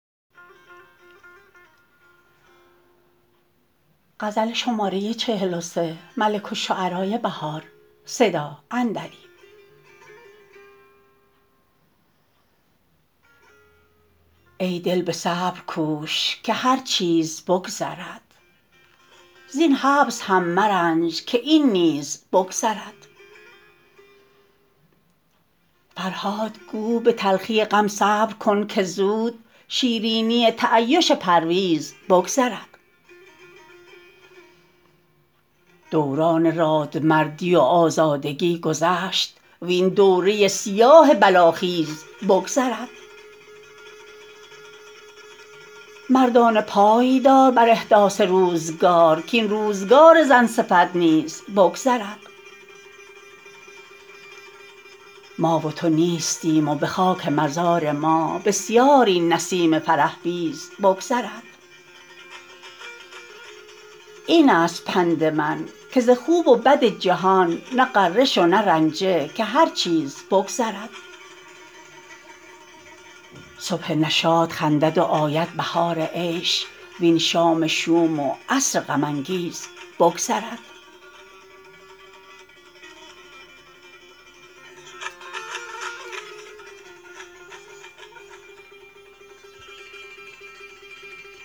ای دل به صبر کوش که هر چیز بگذرد زین حبس هم مرنج که این نیز بگذرد فرهاد گو به تلخی غم صبر کن که زود شیرینی تعیش پرویز بگذرد دوران رادمردی و آزادگی گذشت وین دوره سیاه بلاخیز بگذرد مردانه پای دار بر احداث روزگار کاین روزگار زن صفت حیز بگذرد ما و تو نیستیم و به خاک مزار ما بسیار این نسیم فرح بیز بگذرد این است پند من که ز خوب و بد جهان نه غره شو نه رنجه که هر چیز بگذرد صبح نشاط خندد و آید بهار عیش وین شام شوم و عصر غم انگیز بگذرد